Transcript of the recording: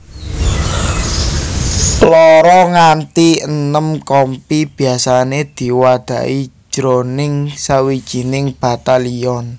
Loro nganti enem kompi biasané diwadhahi jroning sawijining batalyon